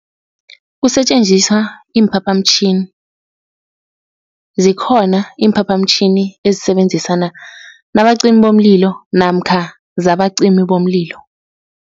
Kusetjenziswa iimphaphamtjhini, zikhona iimphaphamtjhini ezisebenzisana nabacimi bomlilo namkha zabacimi bomlilo.